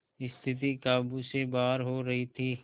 स्थिति काबू से बाहर हो रही थी